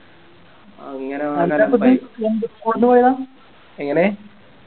അങ്ങനെ എങ്ങനെ